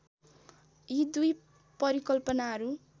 यी दुई परिकल्पनाहरू